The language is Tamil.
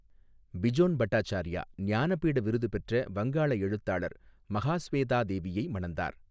பிஜோன் பட்டாச்சார்யா ஞானபீட விருது பெற்ற வங்காள எழுத்தாளர் மகாஸ்வேதா தேவியை மணந்தார்.